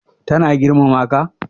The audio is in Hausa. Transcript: Ta na girmama ka?